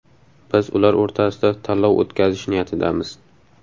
Biz ular o‘rtasida tanlov o‘tkazish niyatidamiz.